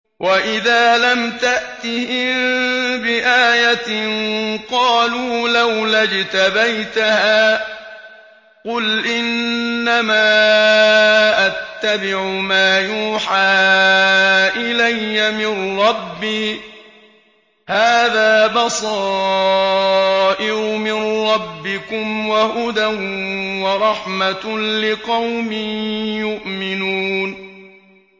وَإِذَا لَمْ تَأْتِهِم بِآيَةٍ قَالُوا لَوْلَا اجْتَبَيْتَهَا ۚ قُلْ إِنَّمَا أَتَّبِعُ مَا يُوحَىٰ إِلَيَّ مِن رَّبِّي ۚ هَٰذَا بَصَائِرُ مِن رَّبِّكُمْ وَهُدًى وَرَحْمَةٌ لِّقَوْمٍ يُؤْمِنُونَ